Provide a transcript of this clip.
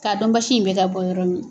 K'a dɔn basi in bɛ ka bɔ yɔrɔ min na.